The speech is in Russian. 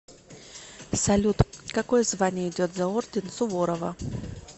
салют какое звание идет за орден суворова